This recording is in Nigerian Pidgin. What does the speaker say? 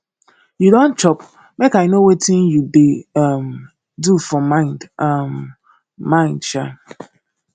you don chop make i know wetin you dey um do for mind um mind um